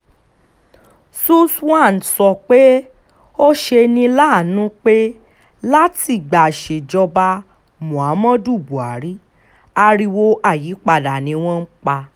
suswan sọ pé ó ṣe ní láàánú pé látìgbà ìsèjoba muhammadu buhari ariwo ayípadà ni wọ́n pa